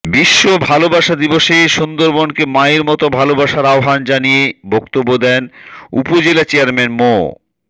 বিশ্ব ভালোবাসা দিবসে সুন্দরবনকে মায়ের মতো ভালোবাসার আহ্বান জানিয়ে বক্তব্য দেন উপজেলা চেয়ারম্যান মো